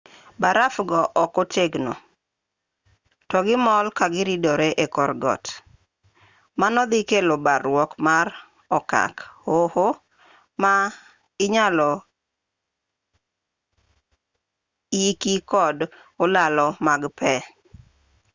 baraf go ok otegno to gimol ka giridore e kor got mano dhi kelo barruok mag okak hoho ma inyalo yiki kod olalo mag pe